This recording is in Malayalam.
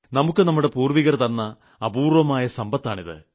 നമുക്ക് നമ്മുടെ പൂർവ്വികർ തന്ന അപൂർവ്വ സമ്പത്താണിത്